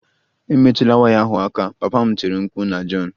Emetụla waya ahụ aka! Papa m tiri mkpu na John